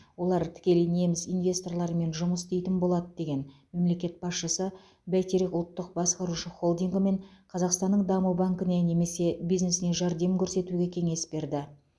олар тікелей неміс инвесторларымен жұмыс істейтін болады деген мемлекет басшысы бәйтерек ұлттық басқарушы холдингі мен қазақстанның даму банкіне немесе бизнесіне жәрдем көрсетуге кеңес берді